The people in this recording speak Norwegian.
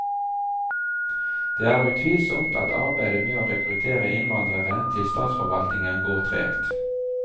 Det er utvilsomt at arbeidet med å rekruttere innvandrere til statsforvaltningen går tregt.